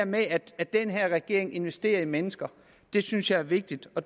med at den her regering investerer i mennesker synes jeg er vigtigt og